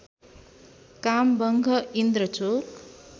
काम वंघः इन्द्रचोक